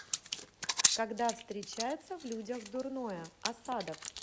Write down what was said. когда встречается в людях дурное асадов